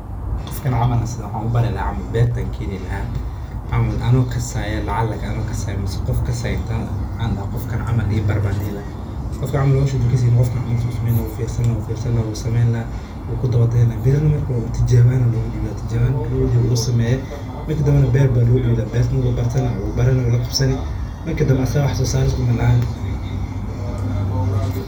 Qofkan camal waxaan ubari lahaa beerta ayaan keeni lahaa wuu i fiirsani lahaa kadib wuu la qabsani.